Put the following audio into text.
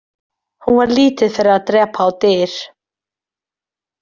Hún var lítið fyrir að drepa á dyr.